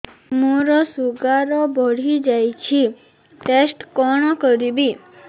ମୋର ଶୁଗାର ବଢିଯାଇଛି ଟେଷ୍ଟ କଣ କରିବି